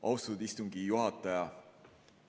Austatud istungi juhataja!